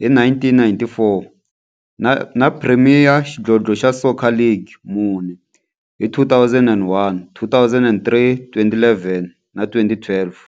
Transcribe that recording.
hi 1994, na Premier Xidlodlo xa Soccer League ka mune, hi 2001, 2003, 2011 na 2012.